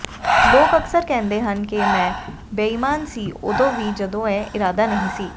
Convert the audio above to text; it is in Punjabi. ਲੋਕ ਅਕਸਰ ਕਹਿੰਦੇ ਹਨ ਕਿ ਮੈਂ ਬੇਈਮਾਨ ਸੀ ਉਦੋਂ ਵੀ ਜਦੋਂ ਇਹ ਇਰਾਦਾ ਨਹੀਂ ਸੀ